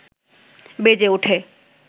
বেজে ওঠে